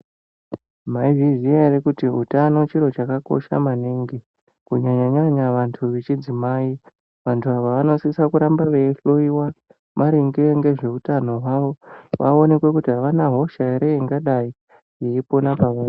Mwaizviziya ere kuti utano chiro chakakosha maningi kunyaya nyanya hwevanhu vechimadzimai. Vanhu ava vanosise kuramba veihloyiwa maringe ngezveutano hwavo kuti vaonekwe kuti avana hosha ere ingadayi yeipona pavari.